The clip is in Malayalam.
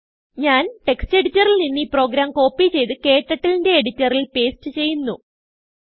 ഞാൻ textഎഡിറ്ററിൽ നിന്ന് ഈ പ്രോഗ്രാം കോപ്പി ചെയ്ത് KTurtleന്റെ എഡിറ്ററിൽ പേസ്റ്റ് ചെയ്യുന്നു